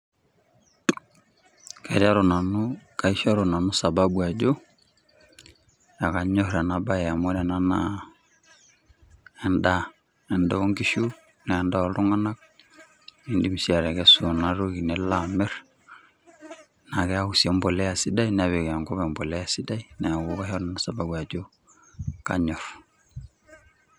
Kaishoru nanu sababu Ajo ekanyor ena bar amu ore ena naa endaa endaa oonkishu naa endaa ooltunganak idim sii atekesu ena toki nilo amir naa keeku si embolea sidai nepik enkop embolea sidai neeku kaishoru nanu sababu Ajo kaanyor.